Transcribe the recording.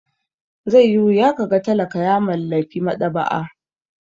Zai yi wuya ka ga talaka ya mallaki maɗaba'a.